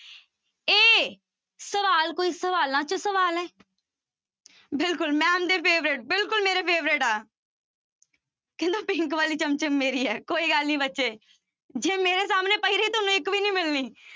ਇਹ ਸਵਾਲ ਕੋਈ ਸਵਾਲਾਂ ਚੋਂ ਸਵਾਲ ਹੈ ਬਿਲਕੁਲ ma'am ਦੇ favorite ਬਿਲਕੁਲ ਮੇਰੇ favorite ਆ ਕਹਿੰਦਾ pink ਵਾਲੀ ਚਮਚਮ ਮੇਰੀ ਹੈ ਕੋਈ ਗੱਲ ਨੀ ਬੱਚੇ, ਜੇ ਸਾਹਮਣੇ ਪਈ ਰਹੀ ਤੁਹਾਨੂੰ ਇੱਕ ਵੀ ਨੀ ਮਿਲਣੀ।